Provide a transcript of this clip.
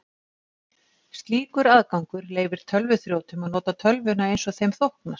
Slíkur aðgangur leyfir tölvuþrjótum að nota tölvuna eins þeim þóknast.